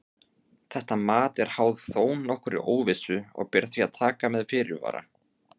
Þetta mat er háð þó nokkurri óvissu og ber því að taka með fyrirvara.